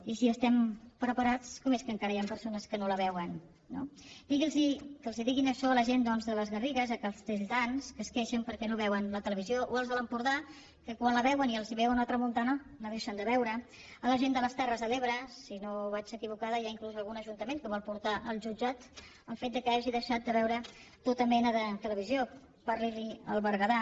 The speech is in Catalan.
i si hi estem preparats com és que encara hi han persones que no la veuen no que els diguin això a la gent doncs de les garrigues a castelldans que es queixen perquè no veuen la televisió o als de l’empordà que quan la veuen i els ve una tramuntana la deixen de veure a la gent de les terres de l’ebre si no vaig equivocada hi ha inclús algun ajuntament que vol portar al jutjat el fet que hagi deixat de veure tota mena de televisió parli’n al berguedà